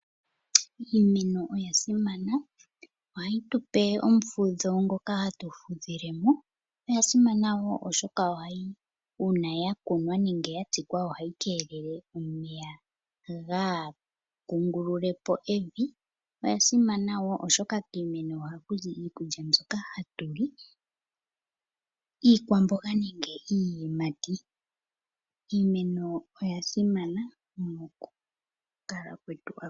Iimeno oya simana, ohayi tupe omufudho ngoka hatu fudhile mo. Oya simana wo oshoka una ya kunwa nenge ya tsika ohayi kelele omeya gaa kungulule po emvi. Oya simana wo oshoka kiimeno ohaku zi iikulya mbyoka hatu li, iikwamboga nenge iiyimati. Iimeno oya simana moku kala kwetu akuhe.